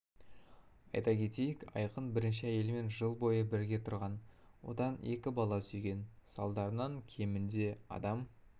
айта кетейік айқын бірінші әйелімен жыл бойы бірге тұрған одан екі бала сүйген салдарынан кемінде адам